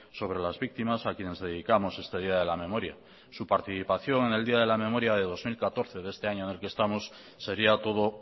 sobre las víctimas a quienes dedicamos este día de la memoria su participación en el día de la memoria de dos mil catorce de este año en el que estamos sería todo